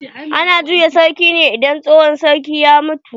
Ana juya sarki ne idan tsohon sarki ya mutu.